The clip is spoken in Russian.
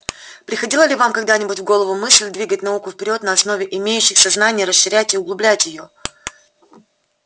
приходила ли вам когда-нибудь в голову мысль двигать науку вперёд на основе имеющихся знаний расширять и углублять её